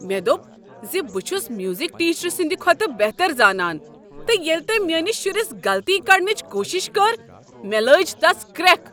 مےٚ دوٚپ ز بہٕ چھس میوزک ٹیچرٕ سٕند کھۄتہٕ بہتر زانان تہٕ ییٚلہ تٔمۍ میٲنس شُرس غلطی کڈنٕچ کوشش کٔر مےٚ لٲج تس کرٛیکھ۔